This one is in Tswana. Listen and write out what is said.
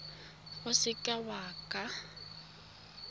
o ka se ka wa